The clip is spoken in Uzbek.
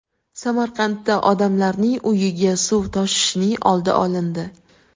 Samarqandda odamlarning uyiga suv toshishining oldi olindi.